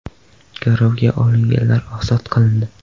Garovga olinganlar ozod qilindi.